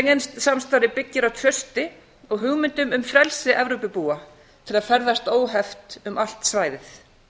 schengen samstarfið byggir á trausti og hugmyndum um frelsi evrópubúa til að ferðast óheft um allt svæðið